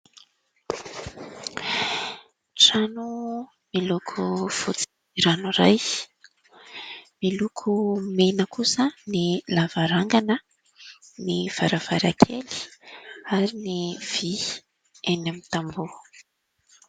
Trano miloko fotsy ranoray, miloko mena kosa ny lavarangana, ny varavarakely ary ny vy eny amin'ny tamboha.